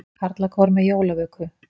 Karlakór með jólavöku